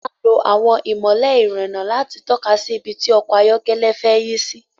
A máa ń lo àwọn ìmọ́lẹ̀ ìrìnnà láti tọ́ka sí ibi tí ọkọ̀ ayọ́kẹ́lẹ́ fẹ́ yí sì